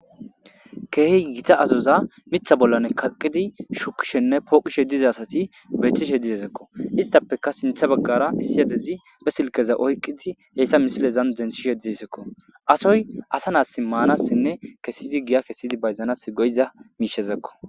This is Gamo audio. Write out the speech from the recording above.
keehi gita azoza mitha bollan kaqqidi shukishenne pooqishe dizasati beetishe dizezekko istappeka sintha baggara issiyadezi be silkeza oyqqidi heyssa misilezan denshishe dizisekko asoy asa naas maanasinne kessizi giya kessidi bayzanas goyiza miishezekko